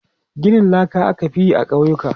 Ginin laka aka fi yi a ƙauyuka.